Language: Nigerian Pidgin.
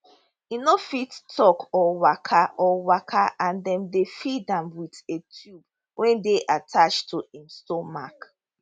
e no fit tok or waka or waka and dem dey feed am with a tube wey dey attached to im stomach